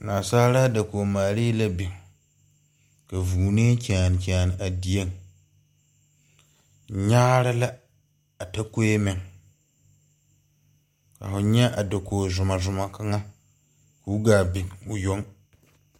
Naasaalaa dakoge maalee la biŋ ka vʋʋnee kyaane kyaane a deɛ nyaare lɛ a takoɛ meŋ ka hʋ nyɛ a dakuo zuma zuma kaŋa kuo gaa biŋ ɔ yʋŋ.